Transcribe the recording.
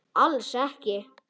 Alls ekki.